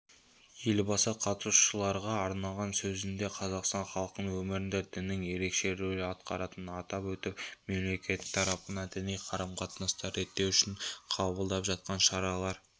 елбасы қатысушыларға арнаған сөзінде қазақстан халқының өмірінде діннің ерекше рөл атқаратынын атап өтіп мемлекеттарапынан діни қарым-қатынастарды реттеу үшін қабылданып жатқан шараларға